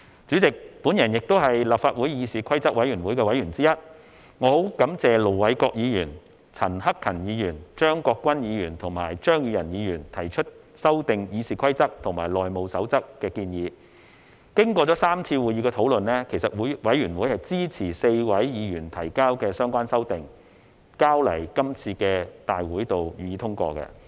主席，我也是立法會議事規則委員會的委員之一，我十分感謝盧偉國議員、陳克勤議員、張國鈞議員及張宇人議員提出修訂《議事規則》和《內務守則》的建議，經過3次會議的討論，其實委員會支持4位議員提交的相關修訂，並提交今次大會予以通過。